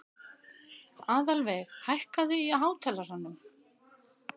Aðalveig, hækkaðu í hátalaranum.